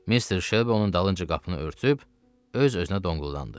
Mister Shelby onun dalınca qapını örtüb öz-özünə donquldandı: